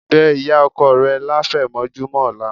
Bẹ́ ìyá ọkọ rẹ láfẹ̀mọ́júmọ́ ọ̀la